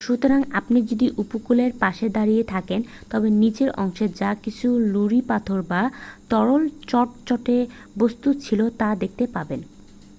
সুতরাং আপনি যদি উপকূলের পাশে দাঁড়িয়ে থাকেন তবে নিচের অংশের যা কিছু নুড়ি পাথর বা তরল চটচটে বস্তূ ছিল তা দেখতে পাবেন